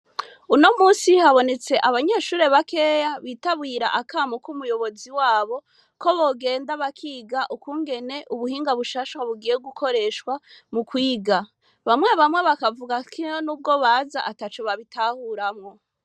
Uno musi habonetse abanyeshure bakeya bitabwira akamu k'umuyobozi wabo ko bogenda bakiga ukungene ubuhinga bushasha wa bugiye gukoreshwa mu kwiga, bamwe bamwe bakavuga kino n'ubwo baza ata cu babitahuramwo.